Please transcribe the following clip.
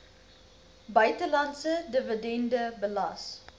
buitelandse dividende belas